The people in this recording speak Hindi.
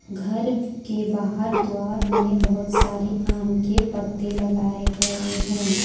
घर के बाहर द्वार में बहुत सारे आम के पत्ते लगाए गए हैं।